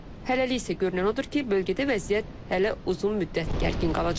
Hələlik isə görünən odur ki, bölgədə vəziyyət hələ uzun müddət gərgin qalacaq.